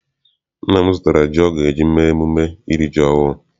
Nna m zụtara ji ọ ga eji mee mmemme iri ji ọhụụ.